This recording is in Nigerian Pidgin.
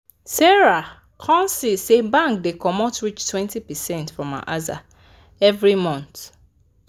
sarah come see say bank da comot reach 20 percent from her aza every month